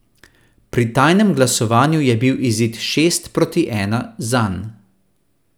Pri tajnem glasovanju je bil izid šest proti ena zanj.